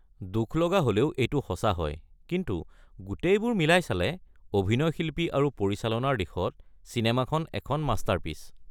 দুখলগা হ'লেও এইটো সঁচা হয়, কিন্তু গোটেইবোৰ মিলাই চালে অভিনয় শিল্পী আৰু পৰিচালনাৰ দিশত চিনেমাখন এখন মাষ্টাৰপিচ।